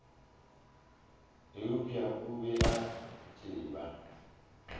eupša o be a tseba